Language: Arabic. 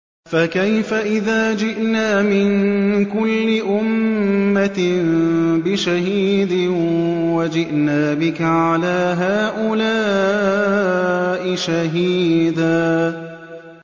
فَكَيْفَ إِذَا جِئْنَا مِن كُلِّ أُمَّةٍ بِشَهِيدٍ وَجِئْنَا بِكَ عَلَىٰ هَٰؤُلَاءِ شَهِيدًا